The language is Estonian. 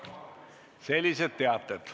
Sellised teated.